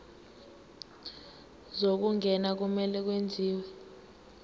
zokungena kumele kwenziwe